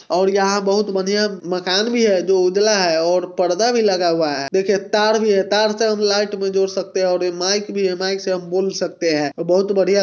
और यहाँ बहोत बढिया मकान भी हैं जो उजाला हैं और परदा भी लगा हुआ हैं| देखिए तार भी हैं| तार से हम लाइट भी जोड़ सकते हैं| और माइक भी हैं माइक से हम बोल सकते हैं| एक बहोत बढिया।